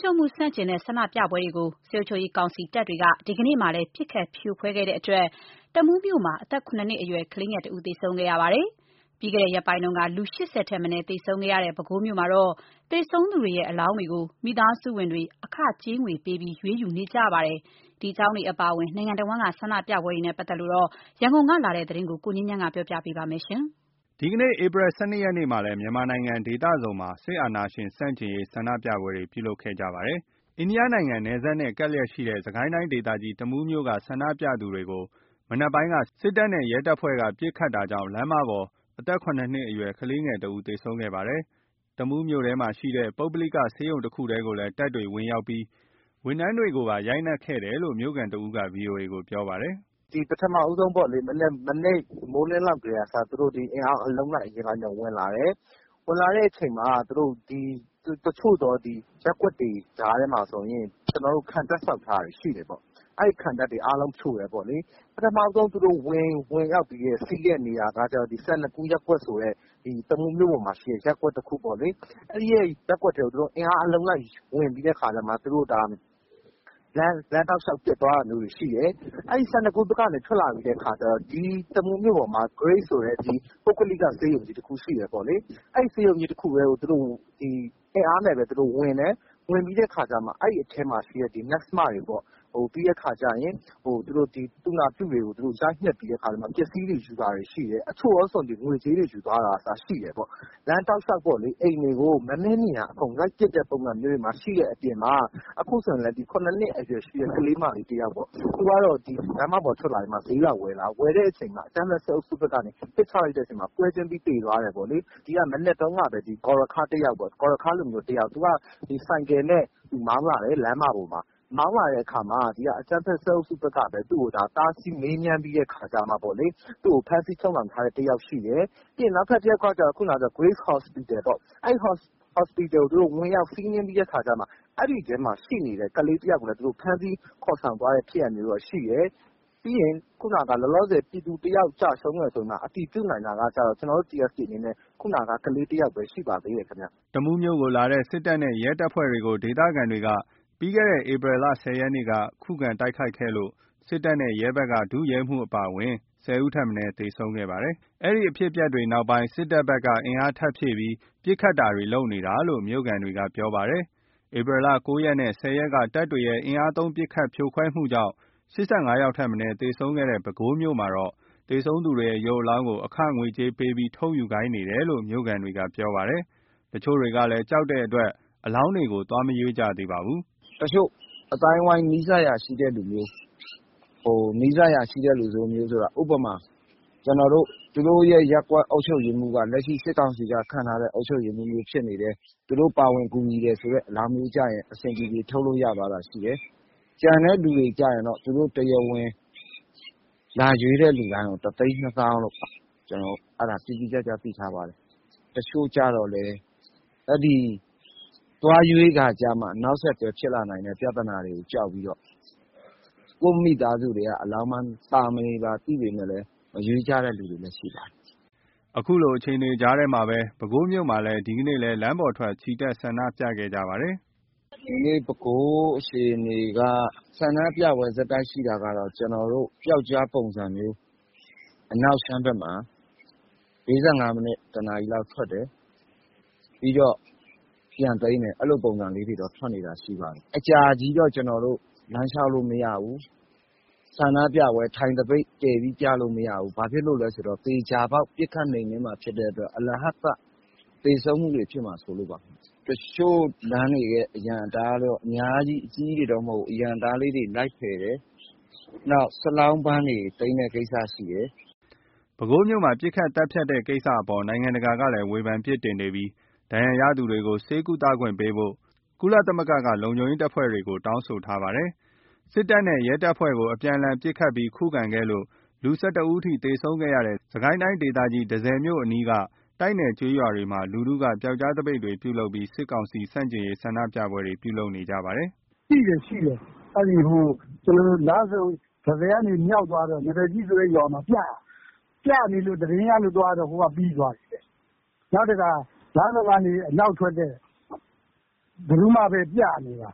ချုပ်မှုဆန့်ကျင်တဲ့ဆန္ဒပြပွဲတွေကို တပ်တွေက ဒီနေ့လည်း ပစ်ခတ်ဖြိုခွဲခဲ့တဲ့အတွက် တမူးမြို့မှာ အသက် ၇ နှစ်အရွယ် ကလေးငယ် တဦးသေဆုံးခဲ့ပါတယ်။ ပြီးခဲ့တဲ့ရက်ပိုင်း ၈၀ ထက်မနည်းသေဆုံးခဲ့တဲ့ ပဲခူးမြို့မှာ သေဆုံးသူတွေရဲ့ အလောင်းတွေကို မိသားစုဝင်တွေ အခကြေးငွေပေးပြီး ရွေးယူနေရပါတယ်။ ဒီအကြောင်းတွေအပါအဝင် နိုင်ငံတဝန်း ဆန္ဒပြပွဲတွေအကြောင်း ရန်ကုန်ကလာတဲ့သတင်းကို ကိုငြိမ်းချမ်းက ပြောပြပါမယ်။ ဒီကနေ့ မတ်လ ၁၂ ရက်နေ့မှာလည်း မြန်မာနိုင်ငံက ဒေသစုံမှာ စစ်အာဏာရှင်ဆန့်ကျင်ရေးဆန္ဒပြပွဲတွေ ပြုလုပ်ကြပါတယ်။ အိန္ဒိယ နိုင်ငံနယ်စပ်နဲ့ကပ်လျက်ရှိတဲ့ စစ်ကိုင်းတိုင်းဒေသကြီး တမူးမြို့က ဆန္ဒပြသူတွေကို မနက်ပိုင်းက စစ်တပ်နဲ့ရဲတပ်ဖွဲ့က ပစ်ခတ်တာကြောင့် လမ်းပေါ်က အသက် ၇ နှစ်အရွယ် ကလေးငယ်တဦးသေဆုံးခဲ့ပါတယ်။ တမူးမြို့ထဲမှာရှိတဲ့ ပုဂ္ဂလိကဆေးရုံတခုထဲကိုလည်း တပ်တွေဝင်ရောက်ပြီး ဝန်ထမ်းတွေကိုပါ ရိုက်နှက်ခဲ့တယ်လို့ မြို့ခံတဦးက ဗွီအိုအေကို ပြောပါတယ်။ “ပထမဦးဆုံးပေါ့လေ မနက်မိုးလင်းကတည်းက အင်အား အလုံးလိုက်အရင်းလိုက်နဲ့ သူတို့ဝင်လာတယ်။ တချို့သောရပ်ကွက်တွေ ကြားထဲ မှာဆိုရင် ကျနော်တို့ ခံတပ်ဆောက်ထားတာတွေရှိတယ်ပေါ့။ အဲ့ခံတပ်တွေအားလုံး ဖြိုတယ်ပေါ့လေ။ သူတို့ပထမဆုံး ဝင်စီးတဲ့နေရာက စန္ဒကူးဆိုတဲ့ တမူးမြို့ပေါ်က ရပ်ကွက်ပေါ့လေ။ အဲ့ရပ်ကွက်ကို အင်အားအလုံးလိုက်နဲ့ လမ်းတောက်လျှောက် ပစ်သွားတာမျိုးတွေရှိတယ်။ အဲ့စန္ဒကူးကထွက်လာပြီးတော့ မြို့ပေါ်မှာ Grace ဆိုတဲ့ ပုဂ္ဂလိက ဆေးရုံကြီးတခုရှိတယ်။ အဲ့ဆေးရုံကြီးကို သူတို့ အင်အားနဲ့ပဲဝင်တယ်။ ဝင်ပြီးတဲ့အခါ အဲ့အထဲမှာရှိတဲ့ နက်စ်မတွေပေါ့ သူနာပြုတွေကို ရိုက်နှက်ပြီး ပစ္စည်းတွေ ယူတာတွေရှိတယ်။ အချို့ဆို ငွေကြေးတွေ ယူသွား တာက အစရှိတယ်။ လမ်းတောက်လျှောက်ကို အိမ်တွေကို မဲမဲမြင်ရာလိုက်ပစ်တဲ့အနေအထားမျိုးတွေရှိတဲ့အခါမှာ အခုဆိုရင် ၇ နှစ် အရွယ်ရှိတဲ့ ကလေးမလေးတယောက်- သူကတော့ လမ်းမပေါ်ထွက်လာပြီး ဈေးလာဝယ်တာဝယ်တဲ့အချိန်မှာ အကြမ်းဖက်စစ်အုပ်စုဘက်က ပစ်ချလိုက်တဲ့အချိန်မှာ ပွဲချင်းပြီး သေသွားတယ်ပေါ့လေ။ မနက်တုန်းကလည်း ဂေါ်ရခါးလူမျိုးတယောက်-သူက ဆိုင်ကယ်နဲ့မောင်းလာတယ် လမ်းမပေါ်မှာ အကြမ်းဖက် စစ်အုပ်စုဘက်ကပဲ တားဆီးမေးမြန်းပြီးတဲ့အခါကျ သူက့ို ဖမ်းဆီးချုပ်နှောင်လိုက်တာ တယောက်ရှိတယ်။ နောက်တယောက်က Grace Hospital ကို ဝင်ရောက် စီးနင်းပြီးတဲ့အခါမှာ အဲ့ဒီထဲမှာ ရှိနေတဲ့ ကလေးတယောက်ကိုလည်း ဖမ်းဆီး ခေါ်ဆောင်သွားတဲ့ ဖြစ်ရပ်မျိုးတော့ရှိတယ်။ ပြည်သူတယောက်ကျဆုံးတယ်ဆိုပြီး အတည်ပြုလို့ရတာက ခုနက ကလေးတယောက်ပဲ ရှိပါသေးတယ်။” တမူးမြို့ကိုလာတဲ့ စစ်တပ်နဲ့ရဲတပ်ဖွဲ့ကို မြို့ခံတွေက ပြီးခဲ့တဲ့ ဧပြီ ၁၀ ရက်က ခုခံတိုက်ခိုက်ခဲ့လို့ စစ်တပ်နဲ့ရဲတပ်ဖွဲ့ဘက်က ဒုရဲမှူးအပါအဝင် ၁၀ ဦးထက်မနည်း သေဆုံးခဲ့ပါတယ်။ အဲဒီအဖြစ်အပျက် ဖြစ်ခဲ့ပြီးနောက် တပ်ဖွဲ့ဝင်တွေဘက်က အင်အားထပ်ဖြည့်ပြီး ပစ်ခတ်တာတွေ လုပ်နေတာလို့ မြို့ခံတွေက ပြောပါတယ်။ ဧပြီလ ၉ရက်နဲ့ ၁၀ ရက်က တပ်တွေရဲ့ အင်အားသုံး ပစ်ခတ် ဖြိုခွဲမှုကြောင့် ၈၅ ယောက်ထက် မနည်းသေဆုံးခဲ့တဲ့ ပဲခူးမြို့မှာ သေဆုံးသူ တွေရဲ့ ရုပ်အလောင်းတွေကို အခကြေးငွေပေးပြီး ထုတ်ယူခိုင်းနေတယ်လို့ မြို့ခံတွေက ပြောပါတယ်။ တချို့ကလည်း ကြောက်ကြတဲ့အတွက် အလောင်းတွေကို သွားမရွေးကြသေးပါဘူး။ “တချို့ အသိုင်းအဝိုင်း နီးစပ်ရာရှိတဲ့သူမျိုး ဥပမာ သူတို့ရဲ့ ရပ်ကွက်အုပ်ချုပ်ရေးမှူးက လက်ရှိစစ်ကောင်စီက ခန့်ထားတဲ့အုပ်ချုပ်ရေးမှူးမျိုး ဖြစ်နေတယ်။ သူတို့ပါဝင်ကူညီနေတဲ့ အလောင်းမျိုးကြရင် အဆင်ပြေပြေ ထုတ်လို့ရသွားတာရှိတယ်။ ကျန်တဲ့သူတွေကျရင်တော့ တရားဝင် လာရွေးတဲ့သူတိုင်းကို ၁ သိန်း ၂ သောင်းလို့ အဲ့ဒါ တိတိကျကျ သိထားပါတယ်။ တချို့ကျတော့လည်း သွားရွေးကာကျမှ နောက်ဆက်တွဲ ဖြစ်လာနိုင်တဲ့ ပြဿနာတွေကို ကြောက်ပြီးတော့ ကိုယ့်မိသားစုထဲကအလောင်း ပါနေတာသိနေပေမယ့်လည်း မရွေးကြတဲ့သူတွေလည်း ရှိပါတယ်။” ခုလိုအခြေအနေကြားမှာပဲ ပဲခူးမြို့မှာ ဒီနေ့လည်း လမ်းပေါ်ထွက် ချီတက်ဆန္ဒပြခဲ့ကြပါတယ်။ “ဒီကနေ့ ပဲခူးအခြေနေက ဆန္ဒပြပွဲ ဆက်တိုက်ရှိတာကတော့ ကျနော်တို့ ပျောက်ကြားပုံစံမျိုး အနောက်ခြမ်းဘက်မှာ ၄၅ မိနစ် ၁ နာရီလောက် ထွက်တယ်။ ပြီးတော့ ပြန်သိမ်းတယ်။ အဲ့လိုပုံစံလေးတွေ ထွက်နေတာ ရှိပါတယ်။ အကြာကြီးတော့ လမ်းလျှောက်လို့မရဘူး။ ဆန္ဒပြပွဲ ထိုင် သပိတ်ပြလို့မရဘူး။ ဘာလို့လဲဆိုတော့ သေချာပေါက် ပစ်ခတ်နှိမ်နင်းမှာဖြစ်တဲ့အတွက် အလဟဿ အသက်သေဆုံးမှုတွေ ဖြစ်မှာစိုးလို့ပါ။ တချို့လမ်းတွေရဲ့ အရံအတား အများကြီး အကြီးကြီးတွေတော့ မဟုတ်ဘူး၊ အသေးလေးတွေ လိုက်ဖယ်တယ်။ နောက် စလောင်းဗန်းတွေ သိမ်းတဲ့ကိစ္စရှိတယ်။” ပဲခူးမြို့မှာ ပစ်ခတ် သတ်ဖြတ်တဲ့ကိစ္စအပေါ် နိုင်ငံတကာကလည်း ဝေဖန်ပစ်တင်နေပြီး ဒဏ်ရာရသူတွေ ဆေးကုသခွင့်ပေးဖို့ ကုလသမဂ္ဂက လုံခြုံရေးတပ်ဖွဲ့တွေကို တောင်းဆိုထားပါတယ်။ စစ်တပ်နဲ့ရဲတပ်ဖွဲ့ကို အပြန်အလှန်ပစ်ခတ်ပြီး ခုခံခဲ့လို့ ၁၁ ဦးအထိ သေဆုံးခဲ့တဲ့ စစ်ကိုင်းတိုင်းဒေသကြီး တန့်ဆည်မြို့အနီးက တိုက်နယ် ကျေးရွာတွေမှာ လူထုက ပျောက်ကြားသပိတ်တွေ ပြုလုပ်ပြီး စစ်ကောင်စီဆန့်ကျင်ရေး ဆန္ဒပြပွဲတွေ ပြုလုပ်နေပါတယ်။ “တန့်ဆည်ကနေ မြောက်သွားတဲ့ နားသတ်ကြီးရွာမှာပြနေလို့ သတင်းရလို့သွားတော့ ဟိုက ပြီးသွားပြီတဲ့။ နောက်တခါ လမ်းဆုံကနေ အနောက်ထွက်တဲ့ ကံထူးမဘက် ပြနေတာ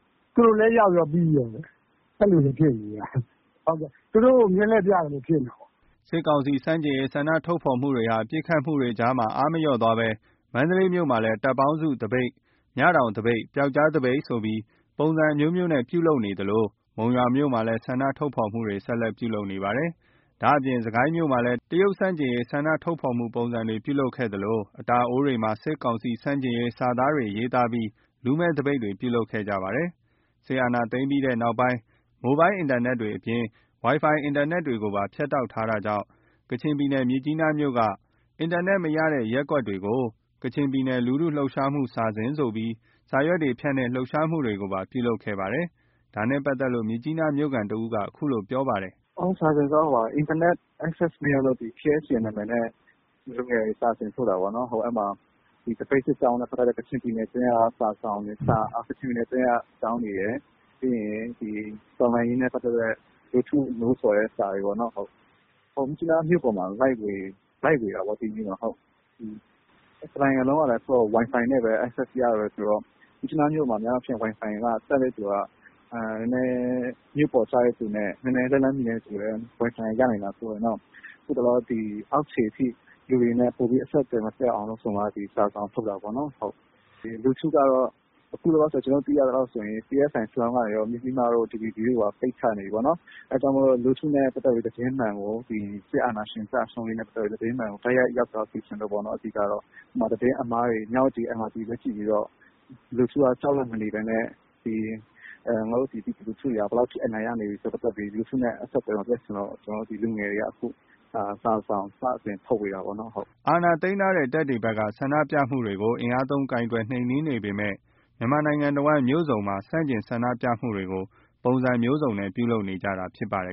။ သူတို့လည်းရောက်ရော ပြီးကော။ အဲ့လိုတွေဖြစ်နေတာ သူတို့ကို မျက်လှည့်ပြသလို ဖြစ်နေတာပေါ့။” စစ်ကောင်စီဆန့်ကျင်ရေး ဆန္ဒထုတ်ဖော်မှုတွေဟာ ပစ်ခတ်မှုတွေကြားမှာ အားမလျော့သွားဘဲ မန္တလေးမြို့မှာ တပ်ပေါင်းစုသပိတ်၊ မြတောင် သပိတ်၊ ပျောက်ကြားသပိတ်ဆိုပြီး ပုံစံအမျိုးမျိးနဲ့ ပြုလုပ်နေသလို မုံရွာမြို့မှာလည်း ဆန္ဒထုတ်ဖော်မှုတွေ ဆက်လက်ပြုလုပ်နေပါတယ်။ ဒါ့အပြင် စစ်ကိုင်းမြို့မှာလည်း တရုတ်ဆန့်ကျင်ရေး ဆန္ဒထုတ်ဖော်မှုပုံစံတွေပြုလုပ်ခဲ့သလို အတာအိုးတွေမှာ စစ်ကောင်စီဆန့်ကျင်ရေး စာသားတွေရေးသားပြီး လူမဲ့သပိတ်တွေပြုလုပ်ခဲ့ကြပါတယ်။ စစ်အာဏာသိမ်းခဲ့ပြီးနောက်စစ်ကောင်စီက မိုဘိုင်းဖုန်းအင်တာနက်အပြင် ဝိုင်ဖိုင် အင်တာနက်တွေကိုဖြတ်တောက်ထားတာကြောင့် ကချင်ပြည်နယ် မြစ်ကြီးနားမြို့က အင်တာနက် မရရှိတဲ့ ရပ်ကွက်တွေကို ကချင်ပြည်နယ် လူထုလှုပ်ရှားမှု စာစဉ်ဆိုပြီး စာရွက်တွေ ဖြန့်တဲ့ လှုပ်ရှားမှုတွေကို ပြုလုပ်ခဲ့ပါတယ်။ ဒါနဲ့ပတ်သက်လို့ မြစ်ကြီးနား မြို့ခံတဦးက အခုလိုပြောပြပါတယ်။ “စာစဉ်ဆိုတာ အင်တာနက် မရလို့ KSCM ဆိုတဲ့နာမည်နဲ့ လူငယ်တွေစာစဉ်ထုတ်တာပေါ့နော်။ အဲ့မှာ သပိတ်စစ်ကြောင်းနဲ့ပတ်သက်တဲ့ ကချင်ပြည်နယ်အတွင်းက အကြောင်းတွေရယ် တော်လှန်ရေးနဲ့ ပတ်သက်တဲ့ လူထုကိုနှိုးဆော်တဲ့ စာတွေရယ်ပေါ့နော်။ မြစ်ကြီးနားမြို့မှာ လိုက်ဝေတာပေါ့။ တနိုင်ငံလုံးက ဝိုင်ဖိုင်နဲ့ရတာဆိုတော့ မြစ်ကြီးနားမြို့မှာ ဝိုင်ဖိုင်တပ်တဲ့သူက မြို့ပေါ်ကျတဲ့သူနဲ့ နည်းနည်းလက်လှမ်းမှီတဲ့ သူလောက်ပဲ ဝိုင်ဖိုင်ကရနိုင်တာဆိုတော့ အောက်ခြေအထိ လူတွေနဲ့ အဆက်အသွယ်မပြတ်အောင်ဆိုပြီး စာစဉ်ထုတ်တာပေါ့။ အခု ကျနော်တို့သိရသလောက် PSI စလောင်းက Mizzima – DVB တို့ပါ ပိတ်ချနေပြီပေါ့နော်။ အဲ့ဒါကြောင့် လူထုနဲ့ပတ်သက်ပြီး သတင်းမှန်ကို စစ်အာဏာရှင်ကျဆုံးရေးနဲ့ ပတ်သက်ပြီး သတင်းမှန်ကို ရောက်သွားစေချင်လို့ပေါ့။ နောက်သတင်းအမှားတွေ မြဝတီ MRTV ပဲ ကြည့်ပြီးတော့ လူထုက ကြောက်ရွံ့မနေဘဲနဲ့ ငါတို့ပြည်သူလူထုတွေ ဘယ်လောက်ထိ အနိုင်ရနေပြီဆိုပြီး လူထုနဲ့အဆက်အသွယ် မပြတ်ချင်လို့ လူငယ်တွေက စာစောင်စတင်ထုတ်ဝေတာပေါ့နော်။” အာဏာသိမ်းထားတဲ့တပ်တွေဘက်က ဆန္ဒပြမှုတွေကို အင်အားသုံး နှိမ်နှင်းကိုင်တွယ်နေပေမဲ့ မြန်မာနိုင်ငံတဝန်း မြို့စုံမှာ ဆန့်ကျင်ဆန္ဒပြမှုတွေကို ပုံစံမျိုးစုံနဲ့ ပြုလုပ်နေကြတာဖြစ်ပါတယ်